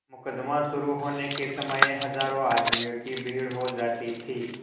मुकदमा शुरु होने के समय हजारों आदमियों की भीड़ हो जाती थी